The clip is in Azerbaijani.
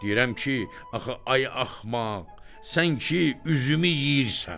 Deyirəm ki, axı ay axmaq, sən ki üzümü yeyirsən.